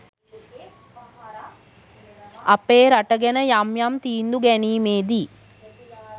අපේ රට ගැන යම් යම් තීන්දු ගැනීමේදී